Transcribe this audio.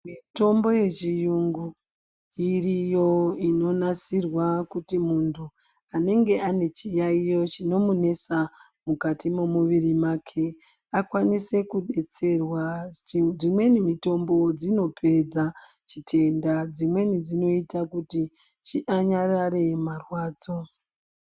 Mitombo yechiyungu iriyo inonasirwa kuti muntu anenge ane chiyayiyo chinomunesa mukati memuviri make akwanise kudetserwa, dzimweni mitombo dzinopedza chitenda, dzimweni dzinoyita kuti anyarare marwadzo.